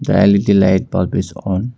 L_E_D light bulb is on.